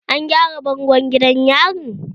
An gyara bangon gidan yarin?